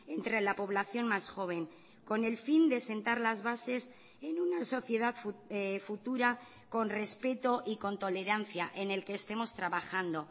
entre la población más joven con el fin de sentar las bases en una sociedad futura con respeto y con tolerancia en el que estemos trabajando